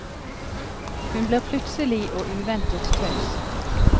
Hun blir plutselig og uventet taus.